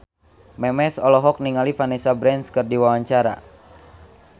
Memes olohok ningali Vanessa Branch keur diwawancara